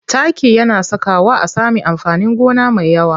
Taki yana sakawa a sami amfanin gona mai yawa.